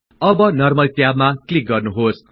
अब नर्मल ट्याबमा क्लिक गर्नुहोस्